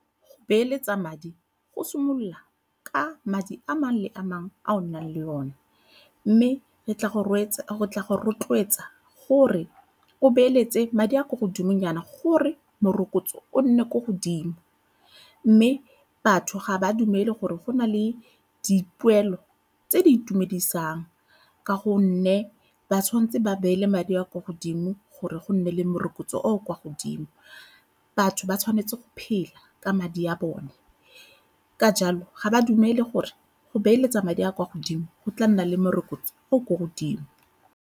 Go beeletsa madi go simolola ka madi a mangwe a mangwe a o nang le one mme go tla go rotloetsa gore o beeletse madi a a kwa godimo nyana gore morokotso o nne ko godimo. Mme batho ga ba dumele gore go na le dipoelo tse di itumedisang ka gonne ba tshwanetse ba beele madi a a kwa godimo gore go nne le morokotso o o kwa o godimo. Batho ba tshwanetse go phela ka madi a bone ka jalo ga ba dumele gore go beeletsa madi a kwa godimo go tla nna le morokotso o o ko godimo.